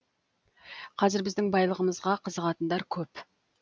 қазір біздің байлығымызға қызығатындар көп